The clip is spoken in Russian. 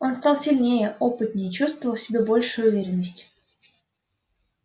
он стал сильнее опытнее чувствовал в себе большую уверенность